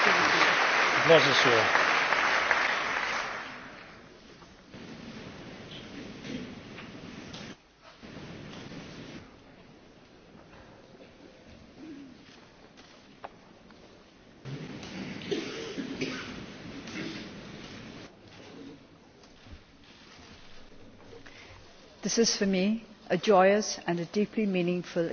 Mr President, this is for me a joyous and a deeply meaningful occasion